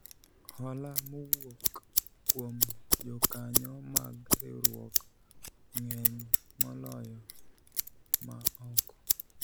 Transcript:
hola mowuok kuom jokanyo mag riwruok ng'eny moloyo ma oko